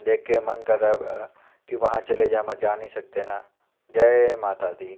देख के मन कर रहा है अः की वहा चले जाए पर जा नहीं सकते है ना जय माता दी।